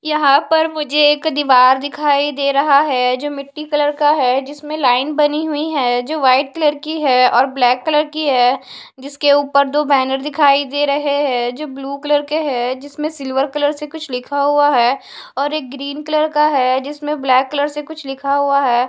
यहां पर मुझे एक दीवार दिखाई दे रहा है जो मिट्टी कलर का है जिसमें लाइन बनी हुई है जो वाइट कलर की है और ब्लैक कलर की है जिसके ऊपर दो बैनर दिखाई दे रहे हैं जो ब्लू कलर के हैं जिसमें सिल्वर कलर से कुछ लिखा हुआ है और एक ग्रीन कलर का है जिसमें ब्लैक कलर से कुछ लिखा हुआ है।